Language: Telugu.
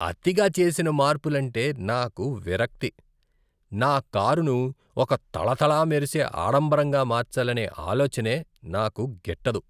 అతిగా చేసిన మార్పులంటే నాకు విరక్తి. నా కారును ఒక తళ తళ మెరిసే, ఆడంబరంగా మార్చాలనే ఆలోచనే నాకు గిట్టదు.